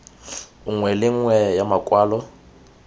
nngwe le nngwe ya makwalo